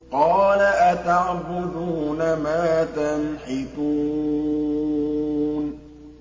قَالَ أَتَعْبُدُونَ مَا تَنْحِتُونَ